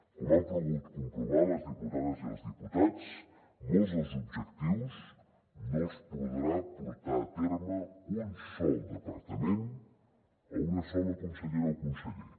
com han pogut comprovar les diputades i els diputats molts dels objectius no els podrà portar a terme un sol departament o una sola consellera o conseller